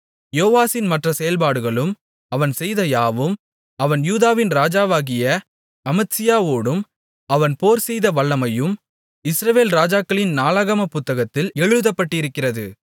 யோவாசின் மற்ற செயல்பாடுகளும் அவன் செய்த யாவும் அவன் யூதாவின் ராஜாவாகிய அமத்சியாவோடு அவன் போர்செய்த வல்லமையும் இஸ்ரவேல் ராஜாக்களின் நாளாகமப் புத்தகத்தில் எழுதப்பட்டிருக்கிறது